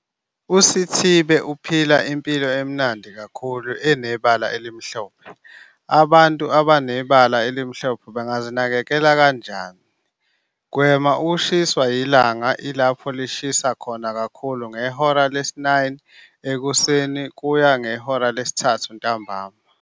USithibe uphila impilo emnandi kakhulu enebala elimhlophe. Abantu abanebala elimhlophe bangazinakekela kanjani? Gwema ukushiswa ilanga lapho ilanga lishisa kakhulu, ngehora lesi-9 ekuseni kuya kwelesi-3 ntambama.